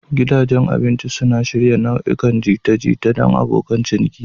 Gidajen abinci suna shirya nau'ikan jita-jita don abokan ciniki.